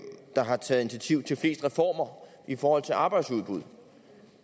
der har taget initiativ til flest reformer i forhold til arbejdsudbud